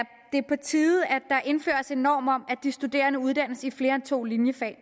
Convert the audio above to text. på tide at der indføres en norm om at de studerende uddannes i flere end to linjefag og